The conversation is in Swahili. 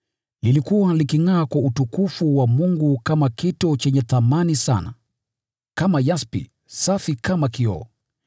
Ulikuwa ukingʼaa kwa utukufu wa Mungu kama kito chenye thamani sana, kama yaspi, safi kama kioo.